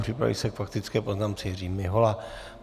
Připraví se k faktické poznámce Jiří Mihola.